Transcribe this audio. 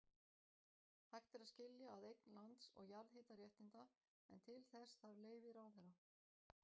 Hægt er að skilja að eign lands og jarðhitaréttinda, en til þess þarf leyfi ráðherra.